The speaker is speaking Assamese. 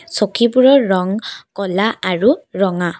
চকীবোৰৰ ৰং ক'লা আৰু ৰঙা।